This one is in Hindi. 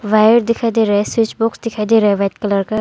वायर दिखाई दे रहा है स्विच बॉक्स दिखाई दे रहा है व्हाइट कलर का।